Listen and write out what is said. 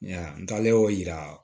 N taalen o yira